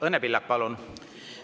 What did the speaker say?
Õnne Pillak, palun!